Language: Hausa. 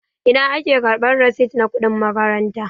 Ina ake karɓan risit na kuɗin makaranta?